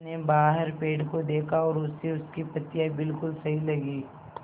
उसने बाहर पेड़ को देखा और उसे उसकी पत्तियाँ बिलकुल सही लगीं